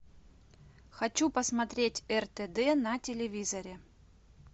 хочу посмотреть ртд на телевизоре